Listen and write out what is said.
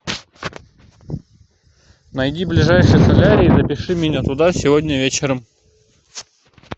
найди ближайший солярий и запиши меня туда сегодня вечером